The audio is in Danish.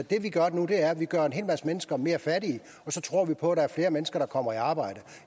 gør nu er at vi gør en hel masse mennesker mere fattige og så tror vi på at der er flere mennesker der kommer i arbejde